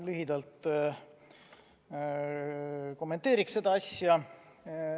Lühidalt kommenteeriks seda asja.